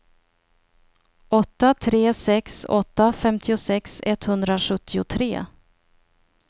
åtta tre sex åtta femtiosex etthundrasjuttiotre